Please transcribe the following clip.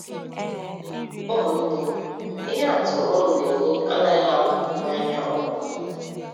Ụmụnne, ihe atụ unu na-enye anaghị apụ n’anya ụmụ unu.